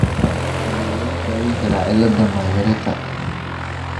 Sidee lagu daweyn karaa cilada Myhreka ?